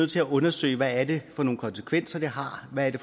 til at undersøge hvad det for nogle konsekvenser det har hvad det